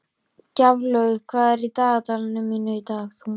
Gjaflaug, hvað er á dagatalinu mínu í dag?